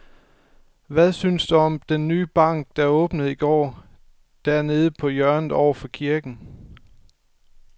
Hvad synes du om den nye bank, der åbnede i går dernede på hjørnet over for kirken?